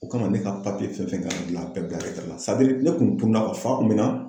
O kama ne ka papiye fɛn fɛn kan ka gilan a bɛɛ bil la ne kun tununa fa kun bɛ n na.